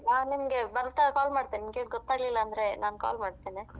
ನಾನ್ ನಿಮ್ಗೆ ಬರ್ತಾ call ಮಾಡ್ತೇನೆ in case ಗೊತಾಗ್ಲಿಲ್ಲ ಅಂದ್ರೆ ನಾನ್ call ಮಾಡ್ತೇನೆ.